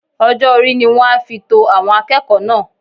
Ọjọ́-orí ni wọ́n á fi to àwọn akẹ́kọ̀ọ́ náà